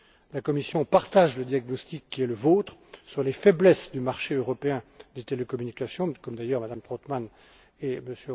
La Commission partage le diagnostic qui est le vôtre à propos des faiblesses du marché européen des télécommunications, comme d'ailleurs Mme Trautmann